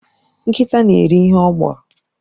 Nkịta na-eri ihe ọ gbọrọ